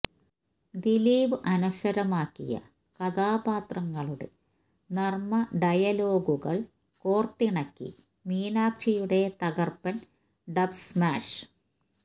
ദിലീപ് അനശ്വരമാക്കിയ കഥാപാത്രങ്ങളുടെ നര്മ ഡയലോഗുകള് കോര്ത്തിണിക്കി മീനാക്ഷിയുടെ തകര്പ്പന് ഡബ്സ്മാഷ്